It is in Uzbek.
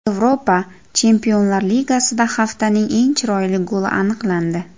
Yevropa Chempionlar Ligasida haftaning eng chiroyli goli aniqlandi .